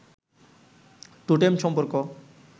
টোটেম-সম্পর্ক